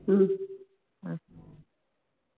உம்